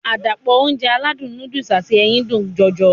Àdàpọ̀ Ounjẹ aládùn nóódùsì àti ẹyin dùn jọjọ